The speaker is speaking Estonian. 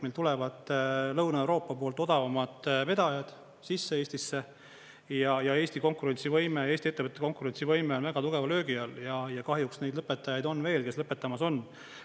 Meil tulevad Lõuna-Euroopa poolt odavamad vedajad sisse Eestisse ja Eesti konkurentsivõime, Eesti ettevõtete konkurentsivõime on väga tugeva löögi all ja kahjuks neid lõpetajaid on veel, kes lõpetamas on.